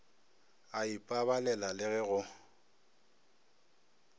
a ipabalela le ge go